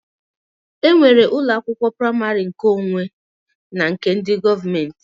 E nwere ụlọ akwụkwọ praimarị nkeonwe na nke ndị gọọmenti